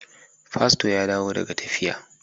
Pasto ya dawo daga tafiya.